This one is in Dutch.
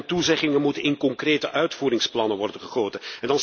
Beloften en toezeggingen moeten in concrete uitvoeringsplannen worden gegoten.